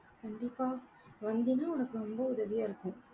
கண்டிப்பா, வந்தினா உனக்கு ரொம்ப உதவியா இருக்கும்.